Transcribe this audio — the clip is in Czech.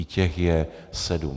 I těch je sedm.